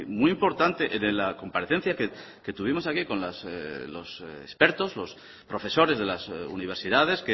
muy importante en la comparecencia que tuvimos aquí con los expertos los profesores de las universidades